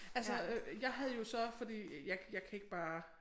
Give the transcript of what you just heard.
Altså øh jeg havde jo så fordi jeg jeg kan ikke bare